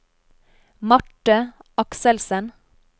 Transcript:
Marthe Akselsen